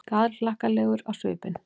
Glaðhlakkalegur á svipinn.